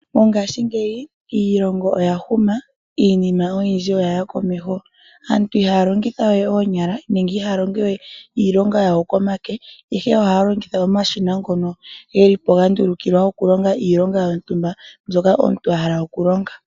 Mongashingeyi iilongo oya huma, iinima oyindji oyaya komeho. Aantu ihaya longitha we oonyala nenge ihaya longo we iilonga yawo komake ihe ohaya longitha omashina ngono geli po gandulukilwa okulonga iilonga yontumba mbyoka omuntu a hala okulonga.